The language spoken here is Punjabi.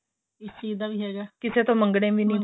ਇਸ ਚੀਜ ਦਾ ਵੀ ਹੈਗਾ ਕਿਸੇ ਤੋਂ ਮੰਗਣੇ ਵ ਨਹੀਂ ਪਏ